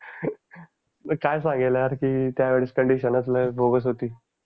मग काय सांगणार की त्यावेळेस कोंडीशन असलं बोगस होती.